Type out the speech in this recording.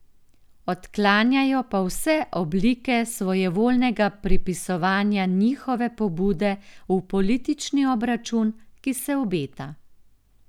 Odklanjajo pa vse oblike svojevoljnega pripisovanja njihove pobude v politični obračun, ki se obeta.